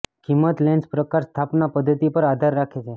કિંમત લેન્સ પ્રકાર સ્થાપના પદ્ધતિ પર આધાર રાખે છે